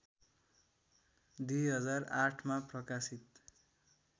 २००८मा प्रकाशित